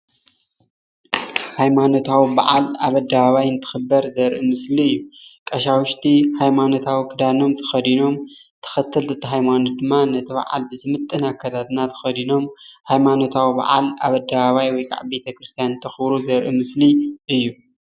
ሃይማኖታዊ በዓል ኣብ ኣደባባይ እንትኽበር ዘርኢ ምስሊ እዩ። ቀሻውሽቲ ሃይማኖታዊ ኽዳን ተኸዲኖም ተኸተልቲ እምነት ነቲ በዓል ዝምጥን ኣከዳድና ተኸዲኖም ሃይማኖታዊ በዓል ኣብ ኣደባባይ ወይ ከዓ ቤተክርስትያን እንተኽብሩ ዘርኢ ምስሊ እዩ።